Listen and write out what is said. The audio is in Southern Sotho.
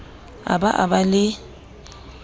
a ba a ba le